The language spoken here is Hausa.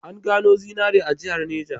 An gano zinari a jihar Neja.